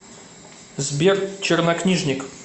сбер чернокнижник